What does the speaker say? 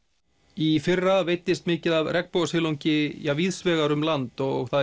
í fyrra veiddist mikið af regnbogasilungi víðs vegar um land og